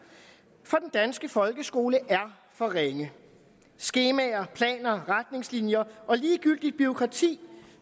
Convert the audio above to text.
for den danske folkeskole er for ringe skemaer planer retningslinjer og ligegyldigt bureaukrati